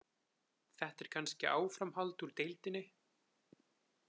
Þetta er kannski áframhald úr deildinni.